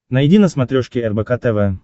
найди на смотрешке рбк тв